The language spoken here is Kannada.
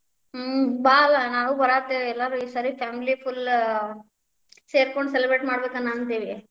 ಹ್ಮ್‌, ಬಾ ಅಲ್ಲ್ ನಾವು ಬಾರಾತೇವಿ ಎಲ್ಲರು ಈ ಸಾರೆ family full ಸೇರ್ಕೊಂಡ celebrate ಮಾಡ್ಬೇಕ್ ಅನಾಂತೇವಿ.